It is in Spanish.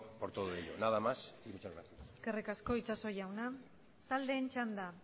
por todo ello nada más y muchas gracias eskerrik asko itxaso jauna taldeen txanda